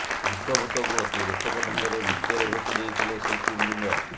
ପଞ୍ଚଭୂତକୁ ଅତି ରୋଚକ ଢଙ୍ଗରେ ନୃତ୍ୟରେ ଭେଟି ଦେଇଥିଲେ ଶିଳ୍ପୀବୃନ୍ଦ